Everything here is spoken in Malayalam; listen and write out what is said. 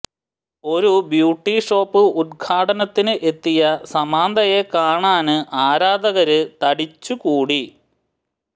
ഒരു ബ്യൂട്ടി ഷോപ്പ് ഉദ്ഘാടനത്തിന് എത്തിയ സാമന്തയെ കാണാന് ആരാധകര് തടിച്ചുകൂടി